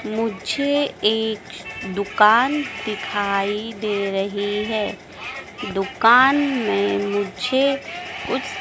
मुझे एक दुकान दिखाई दे रही है दुकान में मुझे कुछ --